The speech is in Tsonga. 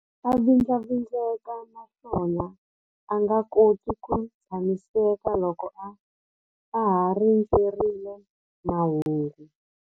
A vindlavindleka naswona a nga koti ku tshamiseka loko a ha rindzerile mahungu.